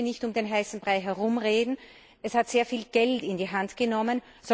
Ich möchte nicht um den heißen Brei herumreden Es hat sehr viel Geld in die Hand genommen.